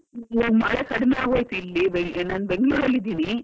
ಈಗ ಮಳೆ ಕಡಿಮೆಯಾಗ್ ಹೋಯಿತು. ಇಲ್ಲಿ.ನಾನು Bangalore ಅಲ್ಲಿ ಇದ್ದೀನಿ.